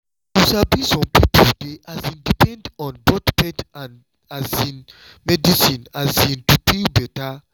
you sabi some people dey um depend on both faith um and medicine um to feel better